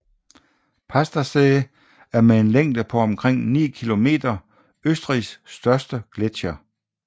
Pasterze er med en længde på omkring 9 kilometer Østrigs største gletsjer